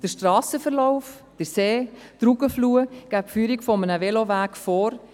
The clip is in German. Der Strassenverlauf, der See und die Rugenfluh geben die Führung eines Velowegs vor.